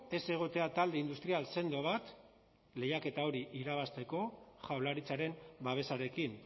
ez egotea talde industrial sendo bat lehiaketa hori irabazteko jaurlaritzaren babesarekin